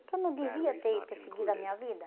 Porque eu não devia ter ter seguido a minha vida.